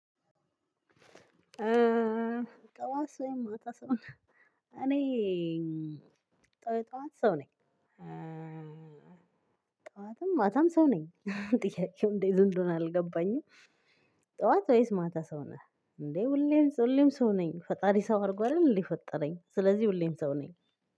የጥዋትሰው ወይም ማታ ሰው እኔ የጥዋት ሰው ነኝ። ጠዋትም ማታም ሰው ነኝ ጥያቄው እንዴት እንደ ሆነ አልገባኝም። ጠዋት ወይስ ማታ ሰው ነህ እንዴ? ሁሌም ሁሌም ሰው ነኝ ፈጣሪ ሰው አርጎ አንደል እንዴ የፈጠረኝ ስለዚህ ሁሌም ሰው ነኝ።